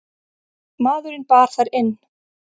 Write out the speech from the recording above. Maðurinn bar þær inn.